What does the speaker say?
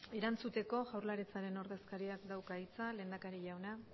erantzuteko jaurlaritzaren ordezkariak dauka hitza lehendakari jauna